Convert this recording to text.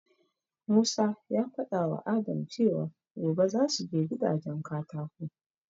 Musa ya faɗawa Adam cewa gobe zasu je gidajen katako